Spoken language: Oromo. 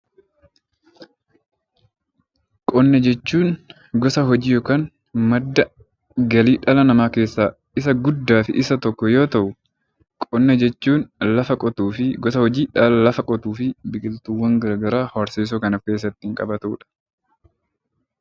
Qonna jechuun gosa hojii yookaan madda galii dhala namaa keessaa isa guddaa fi isa tokko yoo ta'u, qonna jechuun lafa qotuu fi biqiltuuwwan gara garaa horsiisuu kan of keessatti qabatu dha.